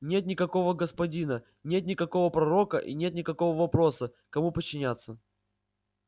нет никакого господина нет никакого пророка и нет никакого вопроса кому подчиняться